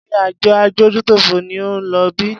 Ṣé àjọ adójútòfò ni ó ń lo ibí?